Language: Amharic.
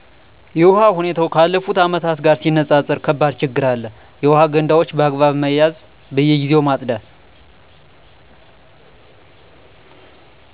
የውሃ ሁኔታው ካለፍቱ ዓመት ጋር ሲነፃፀር ከባድ ችግር አለ። የውሃ ገንዳዎች በአግባብ መያዝ በየግዜው ማፅዳት